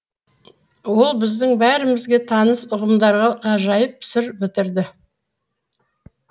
ол біздің бәрімізге таныс ұғымдарға ғажайып сыр бітірді